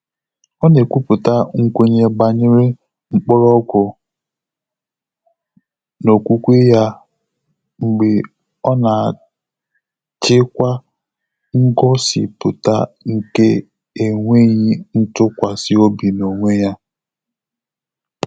Ọ́ nà-ékwúpụ́tà nkwènye gbànyéré mkpọ́rọ́gwụ́ n’ókwúkwé yá mgbè ọ́ nà-àchị́kwá ngọ́sípụ́tà nké énwéghị́ ntụ́kwàsị́ óbí n’ónwé yá.